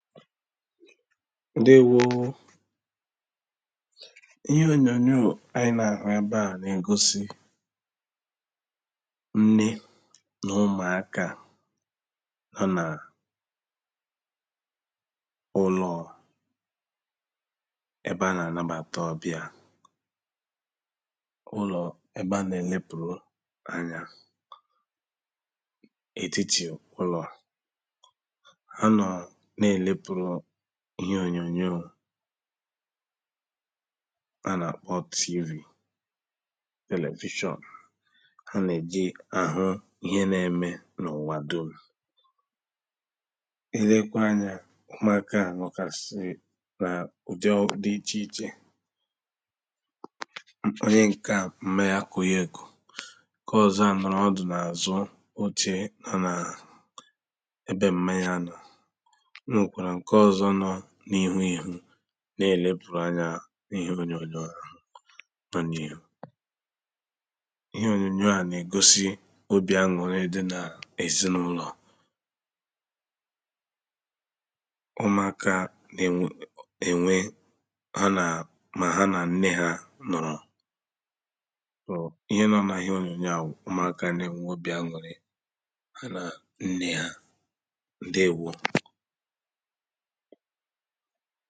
Ǹdeēwò ōō Ihe ònyònyò ànyị nà àhụ ebe à nà ègosì Nne nà ụmụ̀aka ha nà ụlọ̀ ebe à nà-ànabàta ọ̀biā Ụlọ̀ ébé à nà èlepùru anya etiti ụlọ̀ ha nọ̀ nà-èlepùru ihe ònyònyò A nà àkpọ TV television Ha nà-ejì, àhu ihe nà-eme n’ ụ̀wà dum I lekwa anya ụmụ̀aka à nọ gàsì n’ ùdi dị̀ ichè ichè Onye ǹke à, m̀ma yà kù yà ekù Ǹke ọzọ̄ à nọ̀lụ ọdụ̀ nà àzu oche nọ nà Ébé m̀má yà nọ Ọ nwèkwàrà ŋ̀ké ọzọ nọ n’ ihu ihu Nà èlepùru anya n’ ihe ònyònyò ahụ̀ nọ n’ iɦu Ihe ònyònyò a na ègosì obì an̄ụ̀rị dị nà èzinaụlọ̀ Umùaka nà-ènwe.. nà-ènwe ha nà.. mà ha nà nne ha nọ̀lụ O ihe nọ nà ihe ònyònyò à wụ́ ʊ́mʊ̀áká nà-ènwe obì an̄ụ̀rị Ha nà nne ha Ǹdeēwò